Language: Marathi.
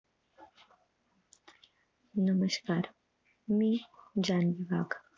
नमस्कार मी जान्हवी वाघ